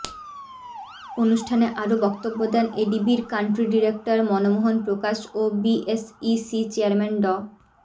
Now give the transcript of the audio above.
অনুষ্ঠানে আরও বক্তব্য দেন এডিবির কান্ট্রি ডিরেক্টর মনমোহন প্রকাশ ও বিএসইসি চেয়ারম্যান ড